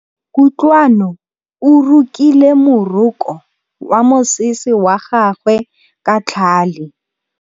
Kutlwanô o rokile morokô wa mosese wa gagwe ka tlhale.